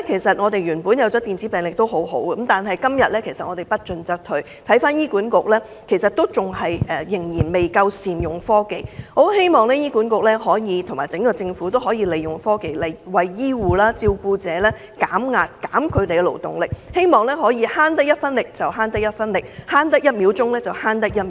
雖然電子病歷有好處，但今天不進則退，醫院管理局仍然未能善用科技，我很希望醫管局和整個政府都可以利用科技，為醫護和照顧者減壓，減輕他們的勞動，減省一分力得一分力，省得一秒得一秒。